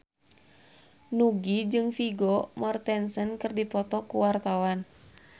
Nugie jeung Vigo Mortensen keur dipoto ku wartawan